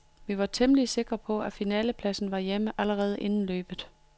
Vi var temmelig sikre på, at finalepladsen var hjemme allerede inden løbet.